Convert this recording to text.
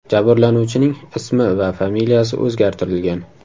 Jabrlanuvchining ismi va familiyasi o‘zgartirilgan .